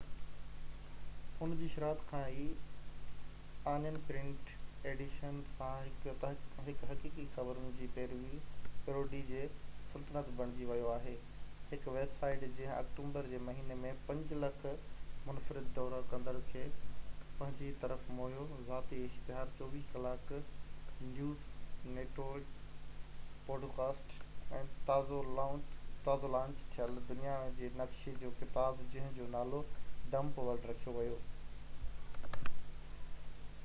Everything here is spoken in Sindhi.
ان جي شروعات کان ئي، آنين پرنٽ ايڊيشن سان، هڪ حقيقي خبرن جي پيروڊي جي سلطنت بڻجي ويو آهي، هڪ ويب سائيٽ جنهن آڪٽوبر جي مهيني ۾ 5,000,000 منفرد دورو ڪندڙن کي پنهنجي طرف موهيو، ذاتي اشتهار، 24 ڪلاڪ نيوز نيٽورڪ، پوڊڪاسٽ، ۽ تازو لانچ ٿيل دنيا جي نقشن جو ڪتاب جنهن جو نالو ڊمپ ورلڊ رکيو ويو